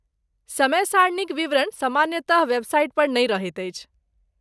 समय सारणीक विवरण सामान्यतः वेबसाइट पर नहि रहैत अछि।